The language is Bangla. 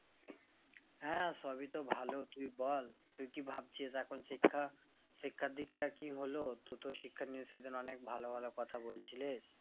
হ্যাঁ সবইতো ভালো তুই বল তুই কি ভাবছিস এখন শিক্ষা, শিক্ষার দিকটা কি হলো টু তো শিক্ষা নিয়ে সেদিন অনিক ভালো ভালোকথা বলছিলিস